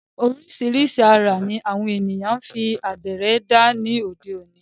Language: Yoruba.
Oríṣìíríṣìí àrà ní àwọn ènìyàn ń fi àdìrẹ dá ní òde òni.